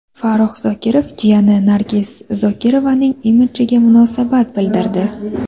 Farrux Zokirov jiyani Nargiz Zokirovaning imidjiga munosabat bildirdi.